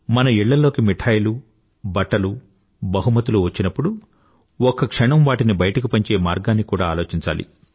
మన ఇళ్ళల్లోకి మిఠాయిలూ బట్టలు బహుమతులు వచ్చినప్పుడు ఒక్క క్షణం వాటిని బయటకు పంచే మార్గాన్ని కూడా ఆలోచించాలి